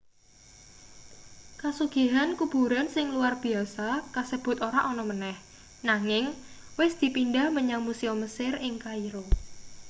kasugihan kuburan sing luwar biyasa kasebut ora ana maneh nanging wis dipindhah menyang musium mesir ing kairo